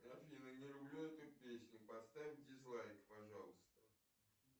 афина не люблю эту песню поставь дизлайк пожалуйста